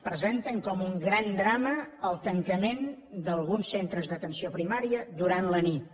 presenten com un gran drama el tancament d’alguns centres d’atenció primària durant la nit